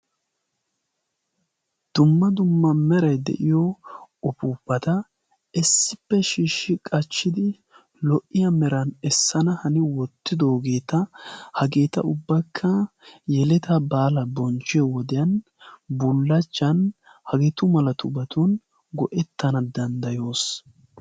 Dumma dumma meray de'iyo uppupata issippe shiishsidio qaccidi lo''iya meran essana hani wottidoogeeta hageeta ubbakka dumma dumma bulachchan hageetu malatubatun go''ettana denddayoos.